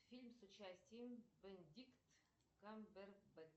фильм с участием бенедикт камбербэтч